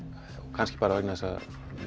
kannski bara vegna þess að